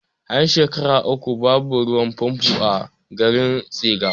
An shekara uku babu ruwan fanfo a garin tsiga